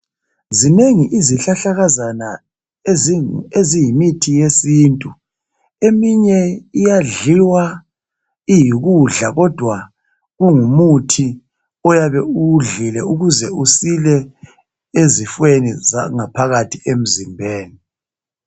Zinengi isihlahlakazana eziyimithi yesintu, eminye iyadliwa iyikudla kodwa kungumuthi oyabe uwudlile ukuze usile ezifweni zangaphakathi emzimbeni.